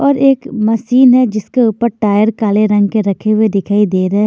और एक मशीन है जिसके ऊपर टायर काले रंग के रखे हुए दिखाई दे र--